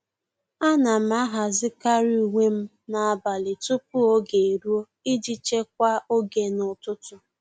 À nà m àhàzị́karị uwe m n’ábàlị̀ tupu ógè érúọ iji chekwaa oge n’ụ́tụ́tụ́.